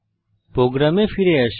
প্রোগ্রামে ফিরে আসি